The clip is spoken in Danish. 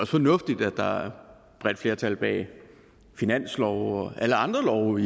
fornuftigt at der er et bredt flertal bag finanslove og alle andre love